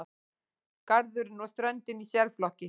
Garðurinn og ströndin í sérflokki.